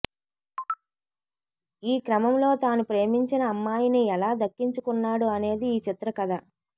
ఈ క్రమంలో తాను ప్రేమించిన అమ్మాయిని ఎలా దక్కించుకున్నాడు అనేది ఈ చిత్ర కథ